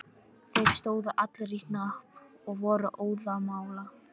Þeir stóðu allir í hnapp og voru óðamála.